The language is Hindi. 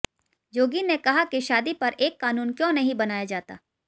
योगी ने कहा कि शादी पर एक कानून क्यों नहीं बनाया जाता